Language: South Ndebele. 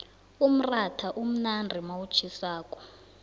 umratha umnandi nawutjhisako